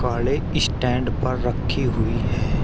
नगाड़े स्टैंड पर रखी हुई है।